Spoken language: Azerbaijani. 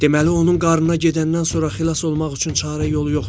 Deməli onun qarnına gedəndən sonra xilas olmaq üçün çarə yolu yoxdur?